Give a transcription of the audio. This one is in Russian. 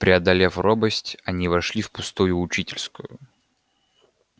преодолев робость они вошли в пустую учительскую